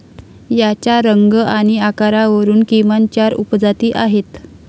याच्या रंग आणि आकारावरून किमान चार उपजाती आहेत.